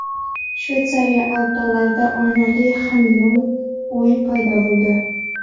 Shveysariya Alp tog‘larida oynali xameleon-uy paydo bo‘ldi .